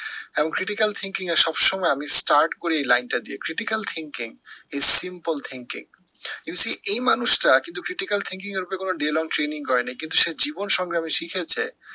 এবং critical thinking এ আমি সব সময় start করি এই line টা দিয়ে, critical thinking is simple thinking you see এই মানুষটা কিন্তু critical thinking এর ওপরে কোনো daylong training করেনি, কিন্তু সে জীবন সংগ্রামে শিখেছে,